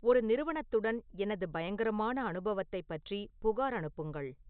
ஒரு நிறுவனத்துடன் எனது பயங்கரமான அனுபவத்தைப் பற்றி புகார் அனுப்புங்கள்